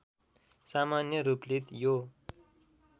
सामान्य रूपले यो